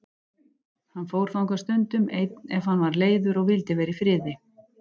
Hann fór þangað stundum einn ef hann var leiður og vildi vera í friði.